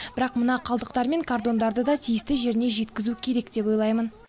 бірақ мына қалдықтар мен картондарды да тиісті жеріне жеткізу керек деп ойлаймын